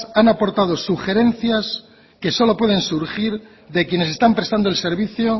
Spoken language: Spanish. han aportado sugerencias que solo pueden surgir de quienes están prestando el servicio